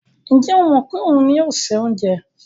Ǹjẹ́ ó mọ̀ pé òun ni yóò se oúnjẹ?